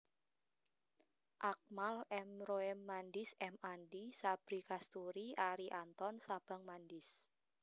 Akmal M Roem Mandis M Andi Sabri Kasturi Arie Anton Sabang Mandis